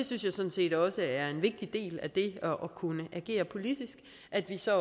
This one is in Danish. synes sådan set også det er en vigtig del af det at kunne agere politisk at vi så